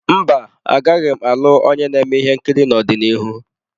Mba, agaghị m alụ onye na-eme ihe nkiri n'ọdịnihu.